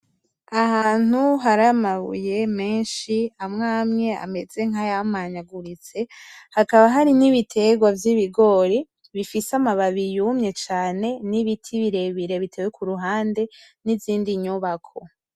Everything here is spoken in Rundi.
Ahantu hari amabuye menshi amwe amwe ameze nkayamanyaguritse , hakaba hari n'ibitegwa vy'ibigori bifise amababi yumye cane, n'ibindi biti birebire kuruhande , n'izindi nyubako.